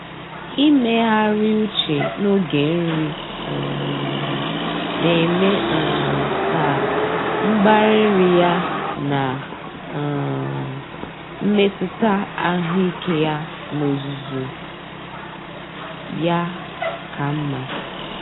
Ịmegharị uche n'oge nri um na-eme um ka mgbari nri ya na um mmetụta ahụike ya n'ozuzu ya ka mma.